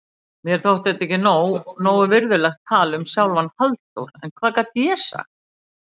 Mér þótti þetta ekki nógu virðulegt tal um sjálfan Halldór, en hvað gat ég sagt?